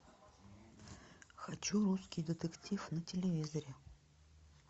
хочу русский детектив на телевизоре